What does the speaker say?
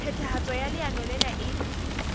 phethahatso ya leano lena e